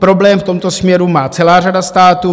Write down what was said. Problém v tomto směru má celá řada států.